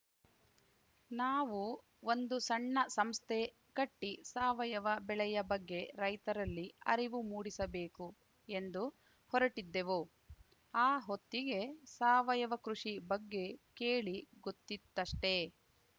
ನಾವು ಒಂದು ಸಣ್ಣ ಸಂಸ್ಥೆ ಕಟ್ಟಿಸಾವಯವ ಬೆಳೆಯ ಬಗ್ಗೆ ರೈತರಲ್ಲಿ ಅರಿವು ಮೂಡಿಸಬೇಕು ಎಂದು ಹೊರಟಿದ್ದೆವು ಆ ಹೊತ್ತಿಗೆ ಸಾವಯವ ಕೃಷಿ ಬಗ್ಗೆ ಕೇಳಿ ಗೊತ್ತಿತ್ತಷ್ಟೇ